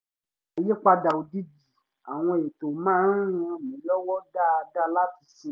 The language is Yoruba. àyípadà òjijì àwọn ètò má ń ràn mí lọ́wọ́ dáadáa láti sinmi